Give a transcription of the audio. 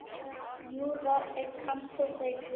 Júra er kantóna í Sviss.